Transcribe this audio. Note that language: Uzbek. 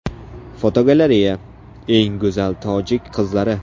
Fotogalereya: Eng go‘zal tojik qizlari.